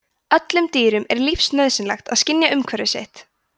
öllum dýrum er lífsnauðsynlegt að skynja umhverfi sitt